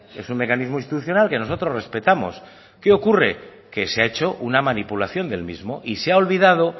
es un mecanismo institucional que nosotros respetamos qué ocurre que se ha hecho una manipulación del mismo y se ha olvidado